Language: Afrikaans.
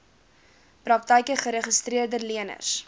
praktyke geregistreede leners